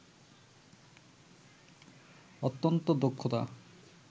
অত্যন্ত দক্ষতা